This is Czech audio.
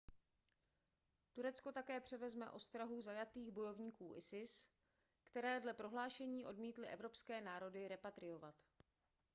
turecko také převezme ostrahu zajatých bojovníků isis které dle prohlášení odmítly evropské národy repatriovat